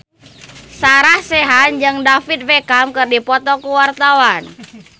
Sarah Sechan jeung David Beckham keur dipoto ku wartawan